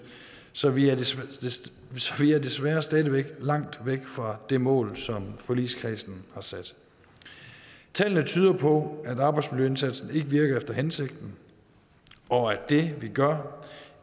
så vi er desværre desværre stadig væk langt væk fra det mål som forligskredsen har sat tallene tyder på at arbejdsmiljøindsatsen ikke virker efter hensigten og at det vi gør